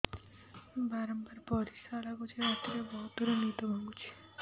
ବାରମ୍ବାର ପରିଶ୍ରା ଲାଗୁଚି ରାତିରେ ବହୁତ ଥର ନିଦ ଭାଙ୍ଗୁଛି